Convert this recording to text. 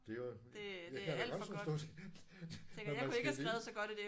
Det er jo jeg kan da godt forstå når man skal